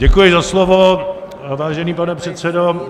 Děkuji za slovo, vážený pane předsedo.